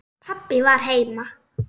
Pabbi var heima.